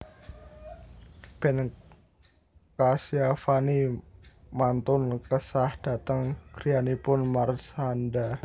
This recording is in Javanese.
Ben Kasyafani mantun kesah dateng griyanipun Marshanda